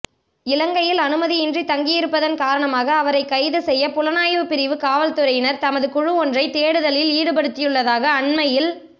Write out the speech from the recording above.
இலங்கையில் அனுமதியின்றி தங்கியிருப்பதன் காரணமாக அவரை கைது செய்ய புலனாய்வுப் பிரிவு காவற்துறையினர் தமது குழுவொன்றை தேடுதலில் ஈடுபடுத்தியுள்ளதாக அண்மையில்